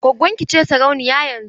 Gwaggon ki ce sarauniya yanzun?